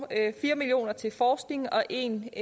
fire million kroner går til forskning og en